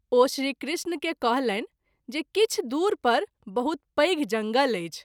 ओ श्री कृष्ण के कहलनि जे किछु दूर पर बहुत पैघ जंगल अछि।